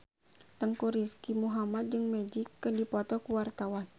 Teuku Rizky Muhammad jeung Magic keur dipoto ku wartawan